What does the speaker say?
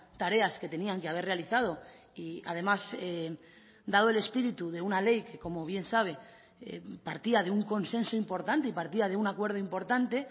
tareas que tenían que haber realizado y además dado el espíritu de una ley que como bien sabe partía de un consenso importante y partía de un acuerdo importante